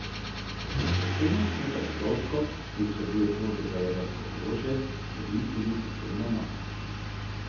Predsednik skupaj s kovčkom, ki vsebuje kode za jedrsko orožje, dobi tudi posebno mapo.